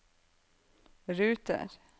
ruter